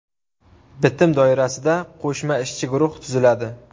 Bitim doirasida qo‘shma ishchi guruh tuziladi.